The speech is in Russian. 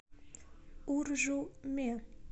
уржуме